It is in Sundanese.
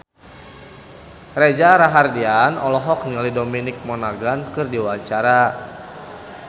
Reza Rahardian olohok ningali Dominic Monaghan keur diwawancara